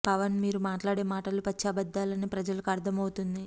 పవన్ మీరు మాట్లాడే మాటలు పచ్చి అబద్ధాలు అని ప్రజలకు అర్థం అవుతోంది